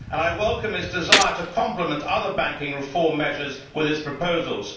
I welcome its desire to complement other banking reform measures with its proposals.